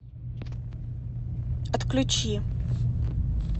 отключи